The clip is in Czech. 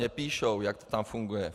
Mně píšou, jak to tam funguje.